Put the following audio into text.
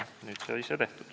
Nüüd sai see tehtud.